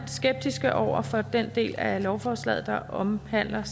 skeptiske over for den del af lovforslaget der omhandler